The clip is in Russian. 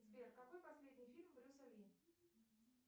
сбер какой последний фильм брюса ли